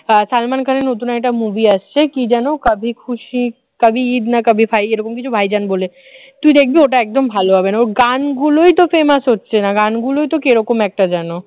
সালমান খানের নতুন একটা movie আসছে সে কি যেন কাভি খুশি কাভি ঈদ না কাভি ভাই এরকম কিছু ভাইজান বলে তুই দেখবি ওটা একদম ভালো হবে না ওর গানগুলোই তো famous হচ্ছে না গান গুলোই তো কিরকম একটা যেন